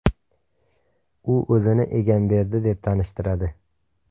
U o‘zini Egamberdi deb tanishtiradi.